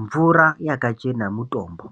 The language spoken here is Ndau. Mvura yakachena mutombo